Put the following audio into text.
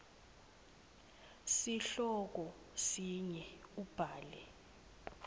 sihloko sinye ubhale